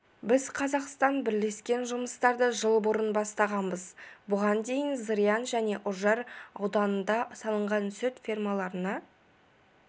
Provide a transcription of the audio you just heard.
біз қазақстанмен бірлескен жұмыстарды жыл бұрын бастағанбыз бұған дейін зырян және үржар ауданында салынған сүт фермаларына